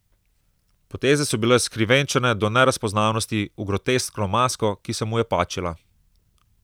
Poteze so bile skrivenčene do nerazpoznavnosti, v groteskno masko, ki se mu je pačila.